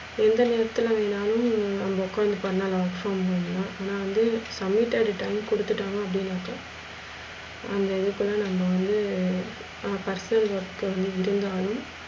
எந்த நேரத்துல வேனாலும் நம்ம ஒக்காந்து பண்ணலாம். work from home ன்னா ஆனா வந்து பண்ணிட்டா return கொடுத்துட்டாங்க அப்டினாக்க அந்த இதுக்குலா நம்ம வந்து personal work வந்து relive ஆகி